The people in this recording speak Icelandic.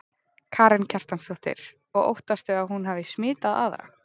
Karen Kjartansdóttir: Og óttastu að hún hafi smitað aðra?